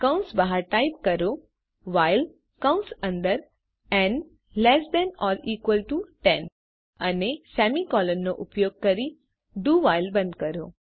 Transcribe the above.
કૌંસ બહાર ટાઇપ કરો વ્હાઇલ કૌંસ અંદર n less than or equal to 10 અને સેમીકોલનનો ઉપયોગ કરી ડીઓ while બંધ કરો